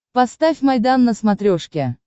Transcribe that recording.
поставь майдан на смотрешке